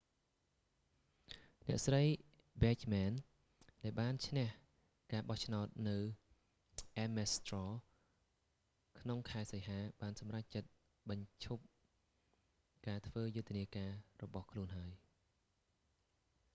អ្នកស្រី ប៊ែចមែន bachmann ដែលបានឈ្នះការបោះឆ្នោតនៅ អ៊ែមមេស ស្ត្ររ ames straw ក្នុងខែសីហា បានសម្រេចចិត្តបញ្ចប់ការធ្វើយុទ្ធនាការរបស់ខ្លួនហើយ